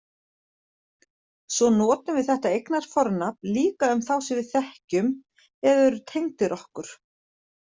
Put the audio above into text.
Svo notum við þetta eignarfornafn líka um þá sem við þekkjum eða eru tengdir okkur.